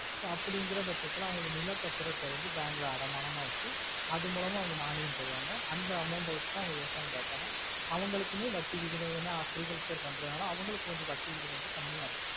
so அப்புடிங்குற பட்சத்துல அவங்க நிலா பத்திரதா bank ல அடமானமா வெச்சி அதுமூலம மானியம் தருவாங்க அந்த amount வெச்சிதா விவசாயம் பாப்பாங்க அவங்களுக்குமே வட்டி விகிதம் என அக்ரிகல் repair பண்ணறவங்கள அவங்களுக்கு கொஞ்ச வட்டி விகிதம் கம்மியா இருக்கும்